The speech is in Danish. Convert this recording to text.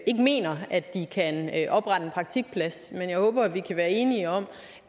mener at de kan oprette en praktikplads men jeg håber jo at vi kan være enige om